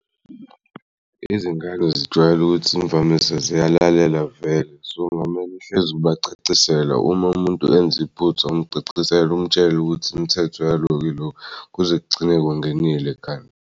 Izingane zijwayele ukuthi imvamisa ziyalalela vele so ngamane uhlez'ubacacisela uma umuntu enz'iphutha umcacisele umutshela ukuthi imithetho yaloko iloku kuze kugcine kungenile ekhanda.